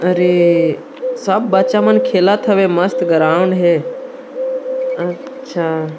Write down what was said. अरे सब बच्चा मन खेलत हवे मस्त ग्राउंड हे अ अच्छा--